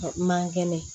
Man kɛnɛ